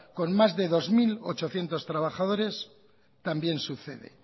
con más de dos mil ochocientos trabajadores también sucede